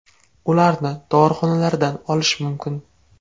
Ularni dorixonalardan olish mumkin.